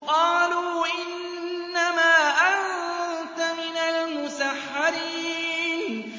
قَالُوا إِنَّمَا أَنتَ مِنَ الْمُسَحَّرِينَ